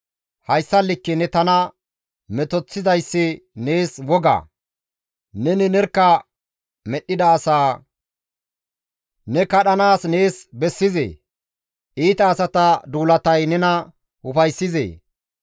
Hayssa likke ne tana metoththoyssi nees wogaa? Neni nerkka medhdhida asaa ne kadhanaas nees bessizee? Iita asata duulatay nena ufayssizee?